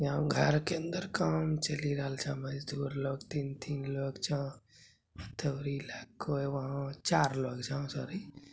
यहाँ घर के अंदर काम ही चली रहल छा मजदूर लोग तीन तीन लोग छा